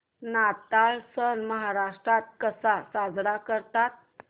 नाताळ सण महाराष्ट्रात कसा साजरा करतात